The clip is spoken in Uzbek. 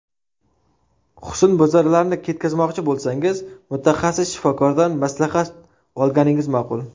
Husnbuzarlarni ketkazmoqchi bo‘lsangiz, mutaxassis shifokordan maslahat olganingiz ma’qul.